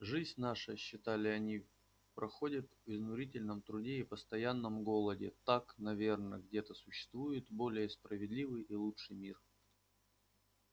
жизнь наша считали они проходит в изнурительном труде и постоянном голоде так наверно где-то существует более справедливый и лучший мир